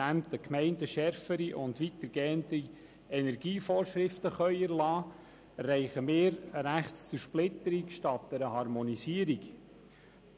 Indem die Gemeinden schärfere und weitergehende Energievorschriften erlassen können, erreichen wir eine Rechtszersplitterung statt eine Harmonisierung, und